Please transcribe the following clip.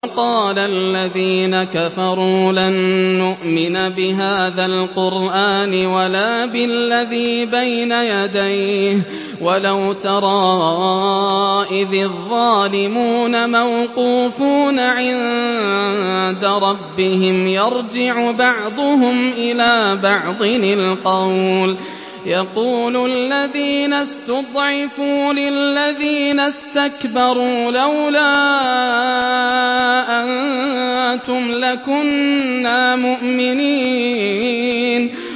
وَقَالَ الَّذِينَ كَفَرُوا لَن نُّؤْمِنَ بِهَٰذَا الْقُرْآنِ وَلَا بِالَّذِي بَيْنَ يَدَيْهِ ۗ وَلَوْ تَرَىٰ إِذِ الظَّالِمُونَ مَوْقُوفُونَ عِندَ رَبِّهِمْ يَرْجِعُ بَعْضُهُمْ إِلَىٰ بَعْضٍ الْقَوْلَ يَقُولُ الَّذِينَ اسْتُضْعِفُوا لِلَّذِينَ اسْتَكْبَرُوا لَوْلَا أَنتُمْ لَكُنَّا مُؤْمِنِينَ